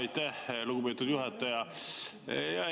Aitäh, lugupeetud juhataja!